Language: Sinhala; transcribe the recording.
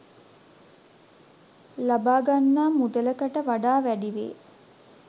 ලබාගන්නා මුදලකට වඩා වැඩිවේ.